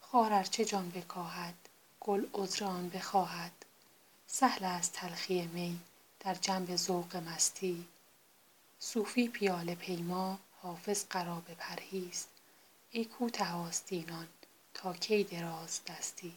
خار ار چه جان بکاهد گل عذر آن بخواهد سهل است تلخی می در جنب ذوق مستی صوفی پیاله پیما حافظ قرابه پرهیز ای کوته آستینان تا کی درازدستی